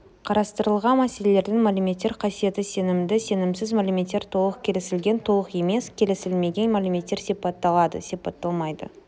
қарастырылған мәселелердің мәліметтер қасиеті сенімді сенімсіз мәліметтер толық келісілген толық емес келісілмеген мәліметтер сипатталады сипатталмайды